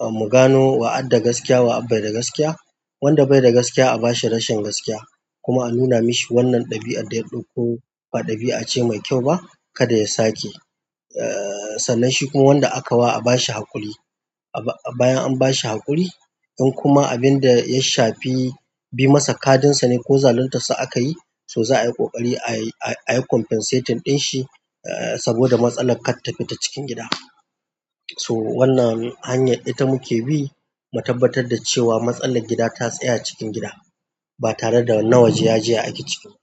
a mu gano wa adda gaskiya wa abai da gaskiya. Wanda bai da gaskiya a bashi rashin gaskiya kuma a nuna mashi wannan ɗabi'ar da ya ɗauko ba ɗabi'a ce mai kyau ba, kada ya sake. Eh, sannan shi kuma wanda aka wa a bashi haƙuri. A bayan an bashi haƙuri, in kuma abinda ya shafi bi masa kadunsa ne ko zaluntar sa aka yi, so za a yi ƙoƙari a yi compensating ɗin shi eh, saboda matsalan kar ta fita cikin gida. To wannan hanyar ita muke bi, mu tabbatar da cewa matsalar gida ta tsaya cikin gida ba tare da nawaje yaji ya ake ciki ba.